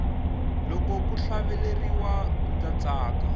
loko ku hlaveleriwa ndza tsaka